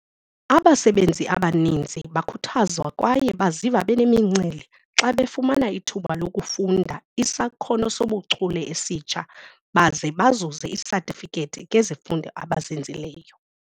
Abasebenzi abaninzi bakhuthazwa kwaye baziva benemincili xa befumana ithuba lokufunda isakhono sobuchule esitsha baze bazuze isatifikethi ngezifundo abazenzileyo.